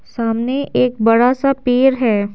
सामने एक बड़ा सा पेर है।